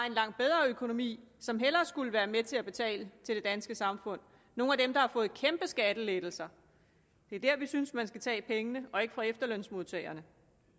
en langt bedre økonomi som hellere skulle være med til at betale til det danske samfund nogle af dem der har fået kæmpe skattelettelser det er der vi synes man skal tage pengene og ikke fra efterlønsmodtagerne